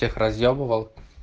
тех разъебывал